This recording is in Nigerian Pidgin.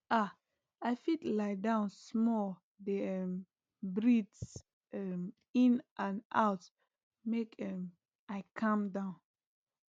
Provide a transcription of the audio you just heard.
ah i fit lie down small dey um breathe um in and out make um i calm down